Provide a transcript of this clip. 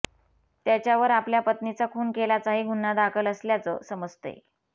त्याच्यावर आपल्या पत्नीचा खून केल्याचाही गुन्हा दाखल असल्याचं समजतंय